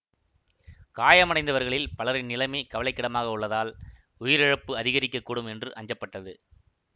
காயமடைந்தவர்களில் பலரின் நிலைமை கவலைக்கிடமாக உள்ளதால் உயிரிழப்பு அதிகரிக்க கூடும் என்று அஞ்சப்பட்டது